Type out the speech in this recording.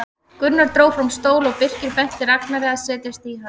Gunnar dró fram stól og Birkir benti Ragnari að setjast í hann.